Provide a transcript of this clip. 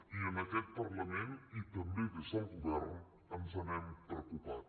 i en aquest parlament i també des del govern ens n’hem preocupat